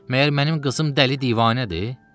Məgər mənim qızım dəli divanədir?